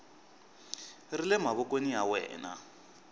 ri le mavokweni ya wena